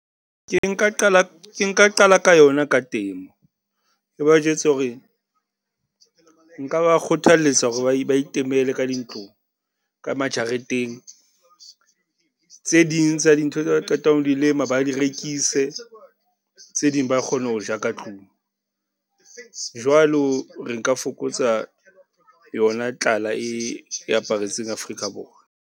Ke nka qala, ke nka qala ka yona ka temo. E ba jwetse hore nka ba kgothaletsa hore ba , ba itemele ka dintlong, ka majareteng. Tse ding tsa dintho tse ba qetang ho di lema, ba di rekise, tse ding ba kgone ho ja ka tlung. Jwalo re nka fokotsa yona tlala e aparetseng Afrika Borwa.